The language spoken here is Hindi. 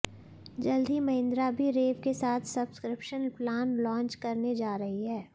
जल्द ही महिंद्रा भी रेव के साथ सब्सक्रिप्शन प्लान लांच करने जा रही है